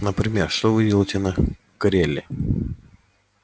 например что вы делаете на креле